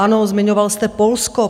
Ano, zmiňoval jste Polsko.